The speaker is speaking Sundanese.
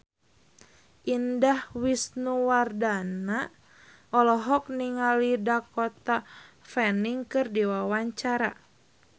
Indah Wisnuwardana olohok ningali Dakota Fanning keur diwawancara